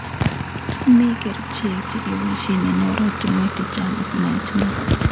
Mi kerichek chekeboishe eng oratunwek chechang ak naet neo.